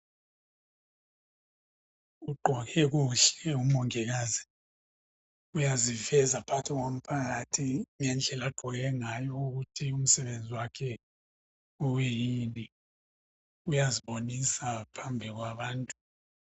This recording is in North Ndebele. Ugqoke kuhle umongikazi. Uyaziveza phakathi komphakathi ngendlela agqoke ngayo ukuthi umsebenzi wakhe uyini. Uyazibonisa phambi kwabantu.